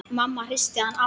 Mamma hristi hann aftur.